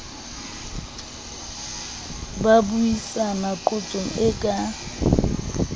ba buisanang qotsong e ka